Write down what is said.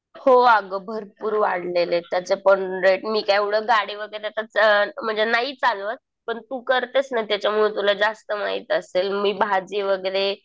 हो अगं. भरपूर वाढले त्याचे पण रेट. मी काय आता गाडी वगैरे म्हणजे नाही चालवत. पण तू करतेस ना त्याच्यामुळे तुला जास्त माहित असेल. मी भाजी वगैरे